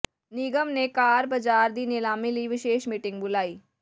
ਨਿਗਮ ਨੇ ਕਾਰ ਬਾਜ਼ਾਰ ਦੀ ਨਿਲਾਮੀ ਲਈ ਵਿਸ਼ੇਸ਼ ਮੀਟਿੰਗ ਬੁਲਾਈ